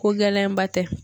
Ko gɛlɛnba tɛ